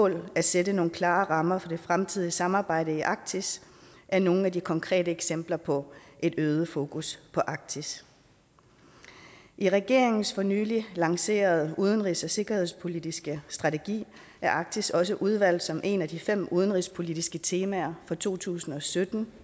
at sætte nogle klare rammer for det fremtidige samarbejde i arktis er nogle af de konkrete eksempler på et øget fokus på arktis i regeringens for nylig lancerede udenrigs og sikkerhedspolitiske strategi er arktis også udvalgt som et af de fem udenrigspolitiske temaer for to tusind og sytten